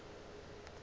ge a re o a